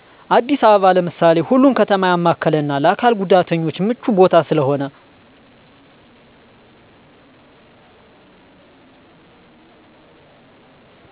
አዲስ አበባ ለምሳሌ ሁሉን ከተማ ያማከለና ለአካል ጉዳተኞች ምቹ ቦታ ስለሆነ